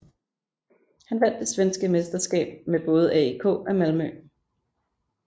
Han vandt det svenske mesterskab med både AIK og Malmö